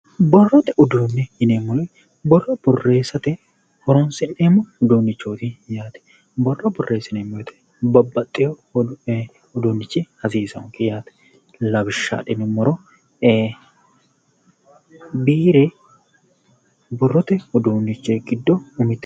Borrote uduunni yineemmori borro borreessate horoonsi'neemmo uduunnichooti yaate borro borreessineemmo woyte babbaxxeyo uduunnichi hasiisaanke yaate lawishsha adhinummoro biire borrote uduunnichi giddo umite